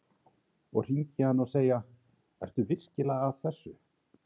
Og hringja í hann og segja: Ertu virkilega að þessu?